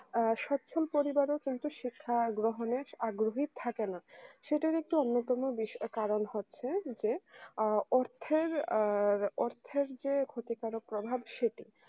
আ সচ্ছল পরিবার ও কিন্তু শিক্ষা গ্রহণের আগ্রহী থাকে না সেটা একটি অন্যতম বিষয় কারণ হচ্ছে যে অর্থের আ অর্থের যে ক্ষতিকারক প্রভাব সেটি